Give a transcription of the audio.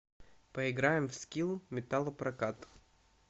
поиграем в скилл металлопрокат